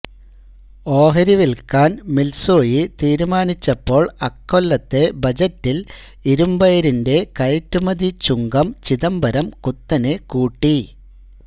ഓഹരി വില്ക്കാന് മിത്സൂയി തീരുമാനിച്ചപ്പോള് അക്കൊല്ലത്തെ ബജറ്റില് ഇരുമ്പയിരിന്റെ കയറ്റുമതി ചുങ്കം ചിദംബരം കുത്തനെ കൂട്ടി